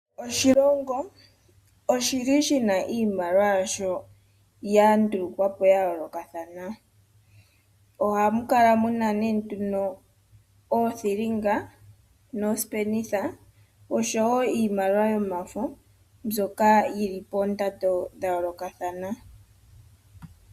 Oshilongo oshili shina iimaliwa yasho ya ndulukwapo yayolokathana. Ohamu kala muna nee nduno oothilinga noosipenitha oshowo iimaliwa yomafo mbyoka yili poondando dha yolokathana.